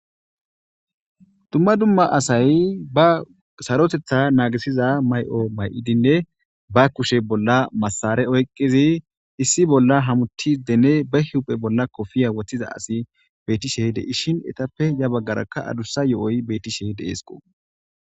Dumma dumma asay ba sarotetha naagisiza may'o may'idinne ba kushe bolla massare oyqizi issi bolla hamuti dene ba hiuphe bolla kofiya woththiza asi betishe de ishin etappe ya baggarakka adussa yo'oy betishe deesqo.